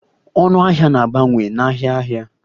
Ọnụ ahịa na-abawanye n'ahịa ahịa.